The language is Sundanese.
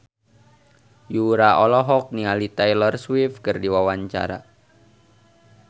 Yura olohok ningali Taylor Swift keur diwawancara